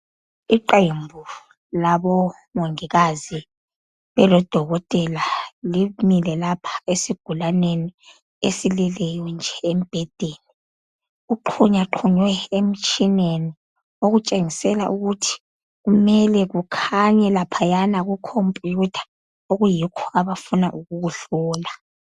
iqembu labomongikazi lilodokokotela limile lapha esigulanieni esilele embhedeni, kuxhunyaxhunywe okutshengisela ukuthi kumele kukhanye laphayana kukhompuyutha okuyikho abafuna ukukuhlola.